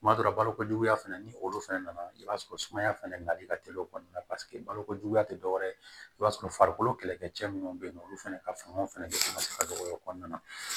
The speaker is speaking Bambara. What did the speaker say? Tuma dɔ la balokojuguya fana ni olu fana nana i b'a sɔrɔ sumaya fɛnɛ nali ka teli o kɔnɔna balokojuguya tɛ dɔwɛrɛ ye i b'a sɔrɔ farikolo kɛlɛkɛcɛ minnu bɛ yen nɔ olu fana ka fanga fana bɛ se ka dɔgɔya o kɔnɔna na